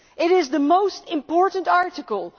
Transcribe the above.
It is the most important article.